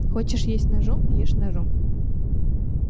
хочешь есть ножом ешь ножом